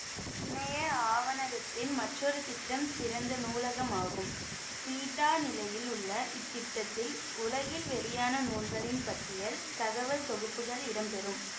இணைய ஆவணகத்தின் மற்றொரு திட்டம் திறந்த நூலகம் ஆகும் பீட்டா நிலையில் உள்ள இத்திட்டத்தில் உலகில் வெளியான நூல்களின் பட்டியல் தகவல் தொகுப்புகள் இடம்பெறும்